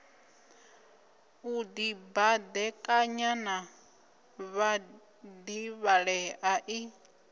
u dibadekanya na vhadivhalea i